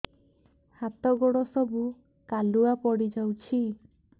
ହାତ ଗୋଡ ସବୁ କାଲୁଆ ପଡି ଯାଉଛି